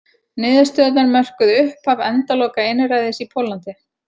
Niðurstöðurnar mörkuðu upphaf endaloka einræðis í Póllandi.